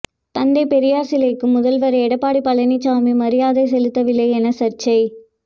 தந்தை பெரியார் சிலைக்கு முதல்வர் எடப்பாடி பழனிச்சாமி மரியாதை செலுத்தவில்லை என சர்ச்சை